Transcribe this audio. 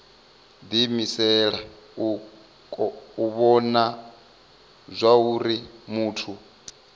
diimisela u vhona zwauri muthu